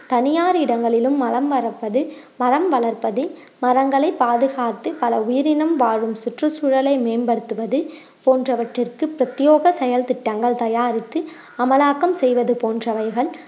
தனியார் இடங்களிலும் மரம் மரப்பது~ மரம் வளர்ப்பது மரங்களை பாதுகாத்து பல உயிரினம் வாழும் சுற்றுச்சூழலை மேம்படுத்துவது போன்றவற்றிற்கு பிரத்யோக செயல் திட்டங்கள் தயாரித்து அமலாக்கம் செய்வது போன்றவைகள்